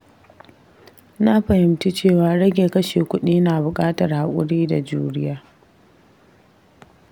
Na fahimci cewa rage kashe kuɗi na buƙatar haƙuri da juriya.